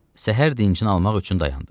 Səhər dincini almaq üçün dayandı.